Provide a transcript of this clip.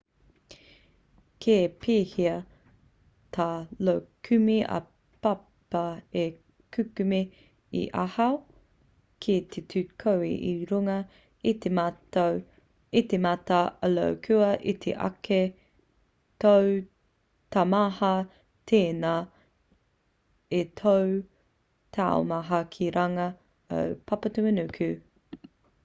ka pēhea tā io kume-ā-papa e kukume i ahau ki te tū koe i runga i te mata o io kua iti ake tō taumaha tēnā i tō taumaha ki runga o papatūānuku